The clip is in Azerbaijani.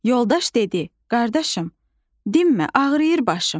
Yoldaş dedi: "Qardaşım, dinmə, ağrıyır başım."